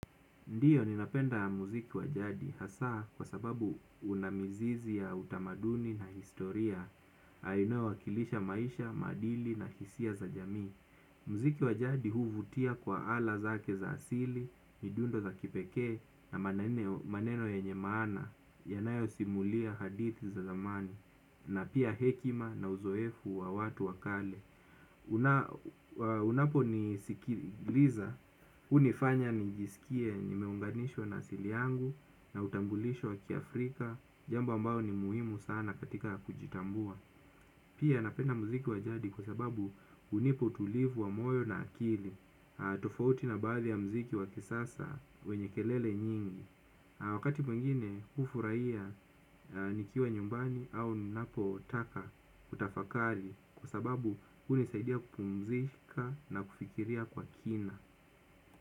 Ndiyo, ninapenda muziki wa jadi, hasa kwa sababu una mizizi ya utamaduni na historia, inayowakilisha maisha, maadili na hisia za jamii. Muziki wajadi huvutia kwa ala zake za asili, midundo za kipekee na maneno yenye maana, yanayosimulia hadithi za zamani, na pia hekima na uzoefu wa watu wa kale. Unaponisikiliza hunifanya nijisikie nimeunganishwa na asili yangu na utambulisho wa kiafrika. Jambo ambayo ni muhimu sana katika kujitambua. Pia napenda muziki wa jadi kwa sababu hunipa utulivu wa moyo na akili. Tofauti na baadhi ya muziki wa kisasa wenye kelele nyingi wakati mwingine hufurahia nikiwa nyumbani au ninapotaka kutafakari kwa sababu hunisaidia kupumzika na kufikiria kwa kina.